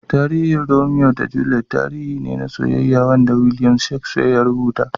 Tarihin Romeo da Juliet tarihi ne na soyyeya Wanda Williams Shakespeare ya rubuta.